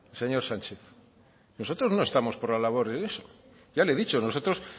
señor sánchez nosotros no estamos por la labor de eso ya le he dicho nosotros